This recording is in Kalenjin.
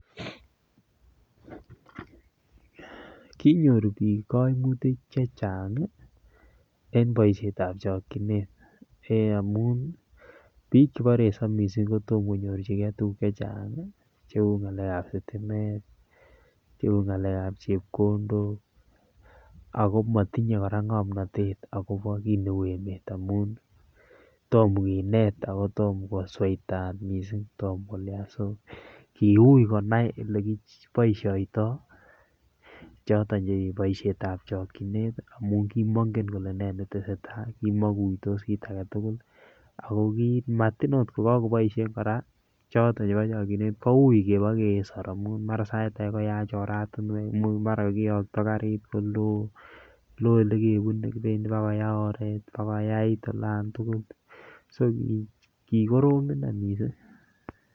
Kinyor bik koimutik chechang ii en boisietab chokchinet amun bik chebo resop kotom konyorjigee tuguk chechang cheu ngalekab sitimet, anan kongalekab chepkondok ako motinyee koraa ngomnotet akobo kineu emet amun Tom kinet akotom kosweitat missing' so kiu konai elekiboisioitoi chiton ngalekab chokchinet amun kimongen kole nee netesetaa kimongen ki aketugul ako komatin ot kokoboishen koraa choton chebochokchinet koukebokesor amun mara sait ake koyach oratinwek, imuch mara kokiyokto karit kolo loo elekebune kibendi bakoyaa oret koyai olan tugul so kikorom inei missing'.